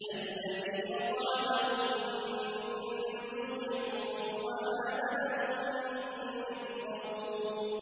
الَّذِي أَطْعَمَهُم مِّن جُوعٍ وَآمَنَهُم مِّنْ خَوْفٍ